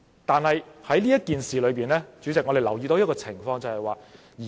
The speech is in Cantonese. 但是，主席，我們在這件事上留意到一種情況。